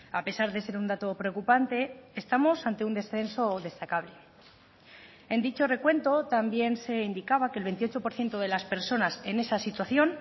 a pesar de ser un dato preocupante estamos ante un descenso destacable en dicho recuento también se indicaba que el veintiocho por ciento de las personas en esa situación